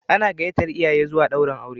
Ana gayyatar iyaye zuwa daurin auren.